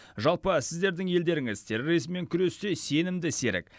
жалпы сіздердің елдеріңіз терроризммен күресте сенімді серік